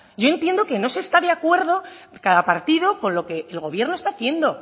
yo entiendo que no se está de acuerdo cada partido con lo que el gobierno está haciendo